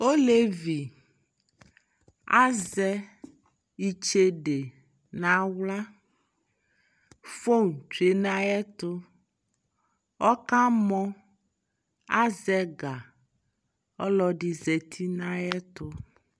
Ɔlɛvi azɛ itsede na wluaFon tsue na yɛ tuƆka mɔAzɛ gaƆlɔdi zati na yɛ tu